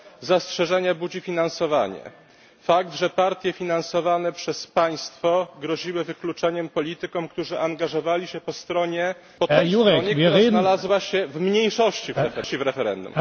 zastrzeżenie budzi finansowanie fakt, że partie finansowane przez państwo groziły wykluczeniem politykom, którzy angażowali się po stronie, która znalazła się w mniejszości w referendum